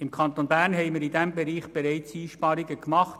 Im Kanton Bern haben wir in diesem Bereich bereits Einsparungen gemacht.